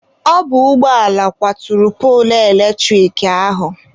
Ọ bụ ụgbọala kwaturu poolu eletrik ahụ.